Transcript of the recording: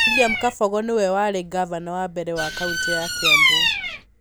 William Kabogo nĩwe warĩ ngavana wa mbere wa kaũntĩ ya Kiambu.